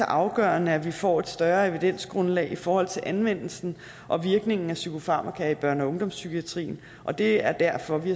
afgørende at vi får et større evidensgrundlag i forhold til anvendelsen og virkningen af psykofarmaka i børne og ungdomspsykiatrien og det er derfor vi